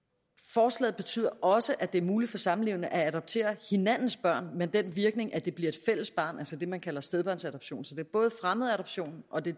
forslaget betyder også at det er muligt for samlevende at adoptere hinandens børn med den virkning at det bliver et fællesbarn altså det man kalder stedbørnsadoption så det er både fremmedadoption og de